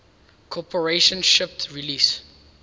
corporation shipped release